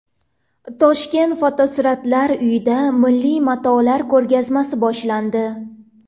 Toshkent Fotosuratlar uyida milliy matolar ko‘rgazmasi boshlandi.